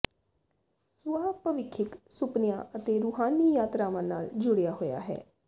ਸੁਆਹ ਭਵਿੱਖਿਕ ਸੁਪਨਿਆਂ ਅਤੇ ਰੂਹਾਨੀ ਯਾਤਰਾਵਾਂ ਨਾਲ ਜੁੜਿਆ ਹੋਇਆ ਹੈ